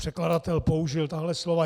Překladatel použil tato slova.